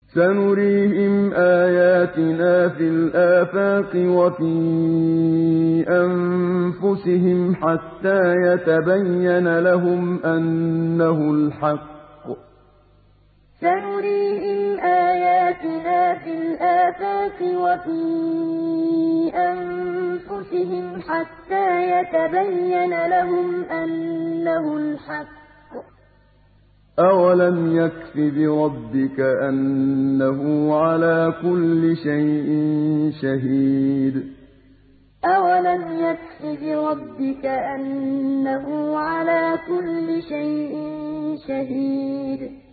سَنُرِيهِمْ آيَاتِنَا فِي الْآفَاقِ وَفِي أَنفُسِهِمْ حَتَّىٰ يَتَبَيَّنَ لَهُمْ أَنَّهُ الْحَقُّ ۗ أَوَلَمْ يَكْفِ بِرَبِّكَ أَنَّهُ عَلَىٰ كُلِّ شَيْءٍ شَهِيدٌ سَنُرِيهِمْ آيَاتِنَا فِي الْآفَاقِ وَفِي أَنفُسِهِمْ حَتَّىٰ يَتَبَيَّنَ لَهُمْ أَنَّهُ الْحَقُّ ۗ أَوَلَمْ يَكْفِ بِرَبِّكَ أَنَّهُ عَلَىٰ كُلِّ شَيْءٍ شَهِيدٌ